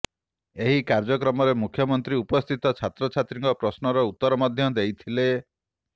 ଏହି କାର୍ଯ୍ୟକ୍ରମରେ ମୁଖ୍ୟମନ୍ତ୍ରୀ ଉପସ୍ଥିତ ଛାତ୍ରଛାତ୍ରୀଙ୍କ ପ୍ରଶ୍ନର ଉତ୍ତର ମଧ୍ୟ ଦେଇଥିଲେ